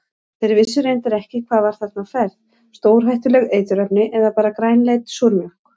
Þeir vissu reyndar ekki hvað var þarna á ferð, stórhættuleg eiturefni eða bara grænleit súrmjólk?